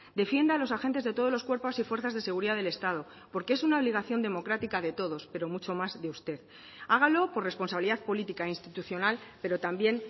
defienda a los agentes de todos los cuerpos y fuerzas de seguridad del estado porque es una obligación democrática de todos pero mucho más de usted hágalo por responsabilidad política institucional pero también